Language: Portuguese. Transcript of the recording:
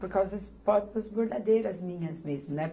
Por causa das próprias bordadeiras minhas mesmo, né?